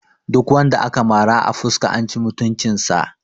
Duk wanda aka mara a fuska an ci mutunci sa